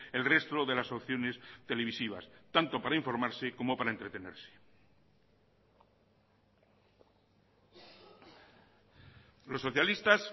el resto de las opciones televisivas tanto para informarse como para entretenerse los socialistas